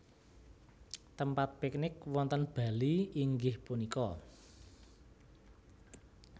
Tempat piknik wonten Bali inggih punika